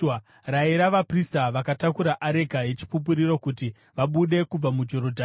“Rayira vaprista vakatakura areka yeChipupuriro kuti vabude kubva muJorodhani.”